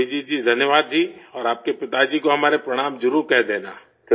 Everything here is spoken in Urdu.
ابھجیت جی شکریہ، اور آپ کے والد کو ہمارا پرنام ضرور کہہ دینا